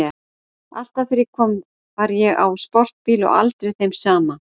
Alltaf þegar ég kom var ég á sportbíl og aldrei þeim sama.